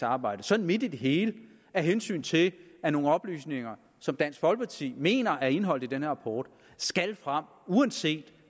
arbejde sådan midt i det hele af hensyn til at nogle oplysninger som dansk folkeparti mener er indeholdt i den her rapport skal frem uanset